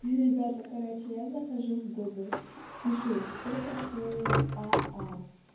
и ребята короче я захожу в гугл пишу что такое а а